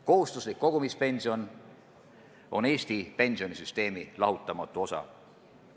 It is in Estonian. Kohustuslik kogumispension on Eesti pensionisüsteemi lahutamatu osa.